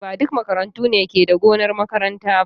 Ba duk makarantu ne ke da gonar makaranta ba.